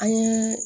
An ye